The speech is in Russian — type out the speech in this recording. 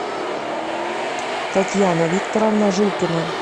татьяна викторовна жилкина